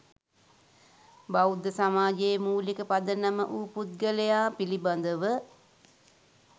බෞද්ධ සමාජයේ මූලික පදනම වූ පුද්ගලයා පිළිබඳව